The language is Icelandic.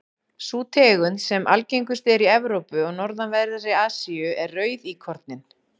sú tegund sem algengust er í evrópu og norðanverðri asíu er rauðíkorninn